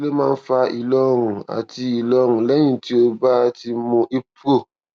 kí ló kí ló máa ń fa ìlọrun àti ìlọrun lẹyìn tó o bá ti mu ibpro